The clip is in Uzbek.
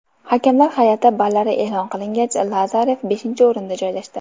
Hakamlar hay’ati ballari e’lon qilingach, Lazarev beshinchi o‘rinda joylashdi.